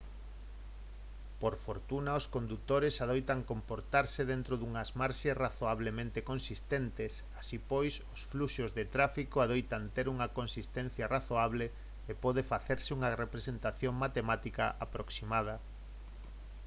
por fortuna os condutores adoitan comportarse dentro dunhas marxes razoablemente consistentes así pois os fluxos de tráfico adoitan ter unha consistencia razoable e pode facerse unha representación matemática aproximada